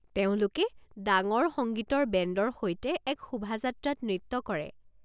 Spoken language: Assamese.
তেওঁলোকে ডাঙৰ সংগীতৰ বেণ্ডৰ সৈতে এক শোভাযাত্ৰাত নৃত্য কৰে।